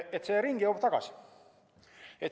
See jõuab ringiga tagasi.